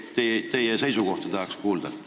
Tahaks teie seisukohta kuulda.